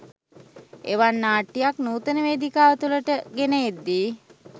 එවන් නාට්‍යයක් නූතන වේදිකාව තුළට ගෙන එද්දී